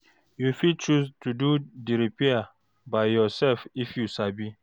You fit choose to do di repair by yourself if you sabi